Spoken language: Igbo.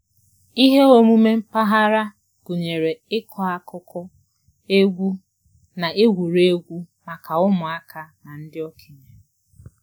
Ihe omume mpaghara gụnyere ịkọ akụkọ, egwu, na egwuregwu maka ụmụaka na ndị okenye